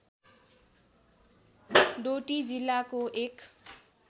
डोटी जिल्लाको एक